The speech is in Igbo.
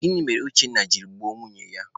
Gịnị mere Uchenna jiri gbuo nwunye ya?